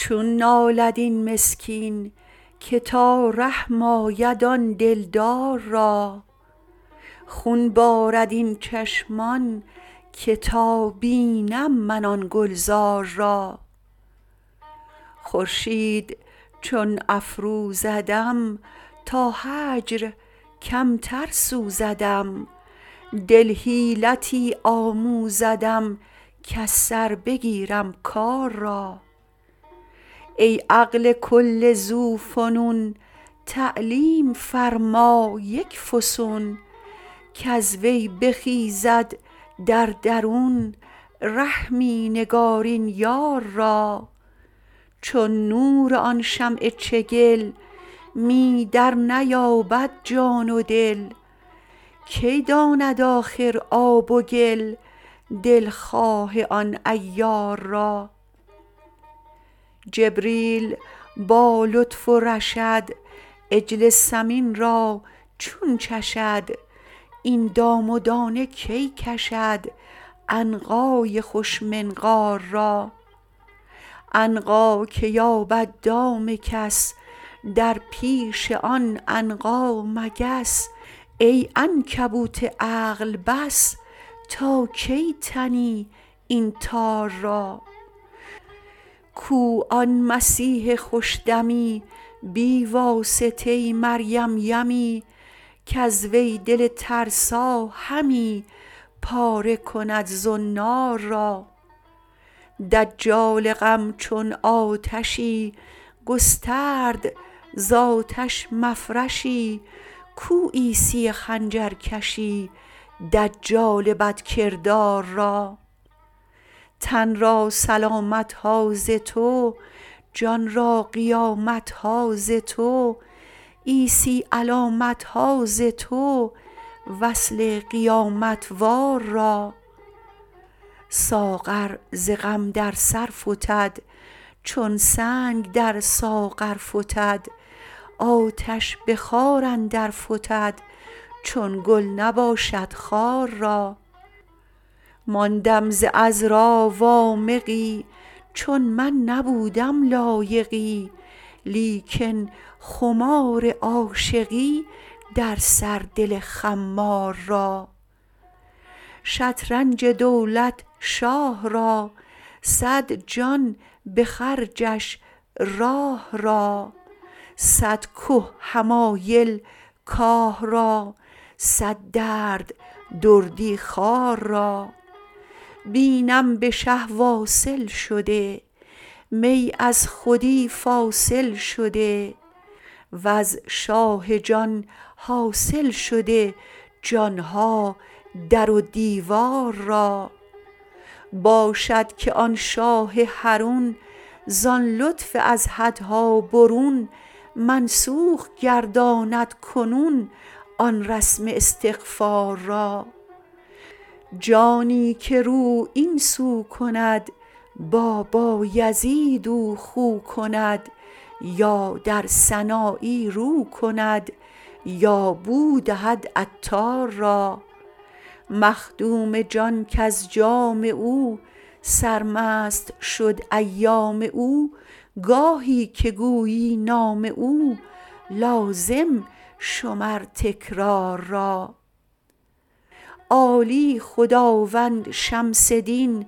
چون نالد این مسکین که تا رحم آید آن دلدار را خون بارد این چشمان که تا بینم من آن گلزار را خورشید چون افروزدم تا هجر کمتر سوزدم دل حیلتی آموزدم کز سر بگیرم کار را ای عقل کل ذوفنون تعلیم فرما یک فسون کز وی بخیزد در درون رحمی نگارین یار را چون نور آن شمع چگل می درنیابد جان و دل کی داند آخر آب و گل دلخواه آن عیار را جبریل با لطف و رشد عجل سمین را چون چشد این دام و دانه کی کشد عنقای خوش منقار را عنقا که یابد دام کس در پیش آن عنقا مگس ای عنکبوت عقل بس تا کی تنی این تار را کو آن مسیح خوش دمی بی واسطه مریم یمی کز وی دل ترسا همی پاره کند زنار را دجال غم چون آتشی گسترد ز آتش مفرشی کو عیسی خنجرکشی دجال بدکردار را تن را سلامت ها ز تو جان را قیامت ها ز تو عیسی علامت ها ز تو وصل قیامت وار را ساغر ز غم در سر فتد چون سنگ در ساغر فتد آتش به خار اندر فتد چون گل نباشد خار را ماندم ز عذرا وامقی چون من نبودم لایقی لیکن خمار عاشقی در سر دل خمار را شطرنج دولت شاه را صد جان به خرجش راه را صد که حمایل کاه را صد درد دردی خوار را بینم به شه واصل شده می از خودی فاصل شده وز شاه جان حاصل شده جان ها در و دیوار را باشد که آن شاه حرون زان لطف از حدها برون منسوخ گرداند کنون آن رسم استغفار را جانی که رو این سو کند با بایزید او خو کند یا در سنایی رو کند یا بو دهد عطار را مخدوم جان کز جام او سرمست شد ایام او گاهی که گویی نام او لازم شمر تکرار را عالی خداوند شمس دین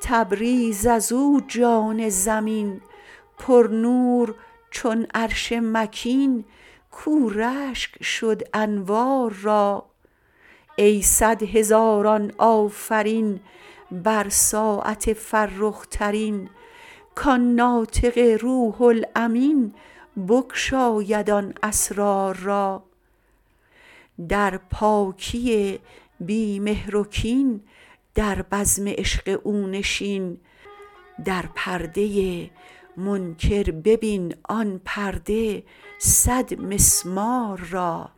تبریز از او جان زمین پرنور چون عرش مکین کاو رشک شد انوار را ای صد هزاران آفرین بر ساعت فرخ ترین کان ناطق روح الامین بگشاید آن اسرار را در پاکی بی مهر و کین در بزم عشق او نشین در پرده منکر ببین آن پرده صدمسمار را